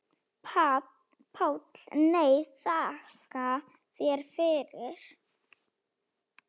PÁLL: Nei, þakka þér fyrir.